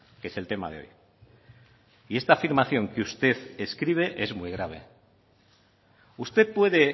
que es el tema de hoy y esta afirmación que usted escribe es muy grave usted puede